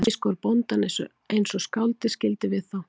Gúmmískór bóndans eins og skáldið skildi við þá